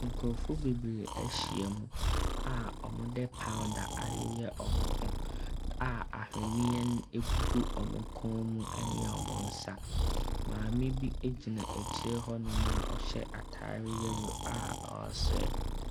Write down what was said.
Nkurɔfoɔ bebree ahyiam a wɔde powder ayeyɛ wɔn ho a ahweneɛ gugu wɔn kɔn mu ne wɔn nsa. Maame bi gyina akyire hɔnom a ɔhyɛ atadeɛ wɔ a ɔresere.